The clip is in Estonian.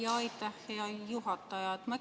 Aitäh, hea juhataja!